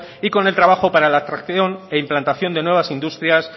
y con el trabajo para la atracción e implantación de nuevas industrias